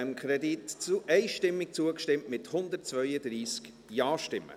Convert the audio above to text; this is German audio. Sie haben diesem Kredit einstimmig zugestimmt, mit 132 Ja-Stimmen.